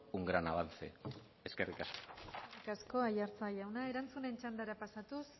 un gran avance eskerrik asko eskerrik asko aiartza jauna erantzunen txandara pasatuz